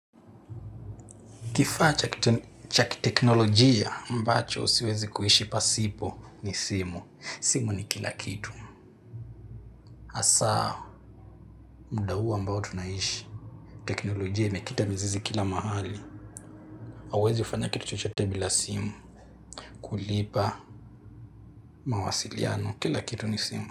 Kifaa cha kiteknolojia ambacho siwezi kuishi pasipo ni simu. Simu ni kila kitu. Hasaa muda huu ambao tunaishi. Teknolojia imekita mizizi kila mahali. Hauwezi fanya kitu chochote bila simu. Kulipa mawasiliano. Kila kitu ni simu.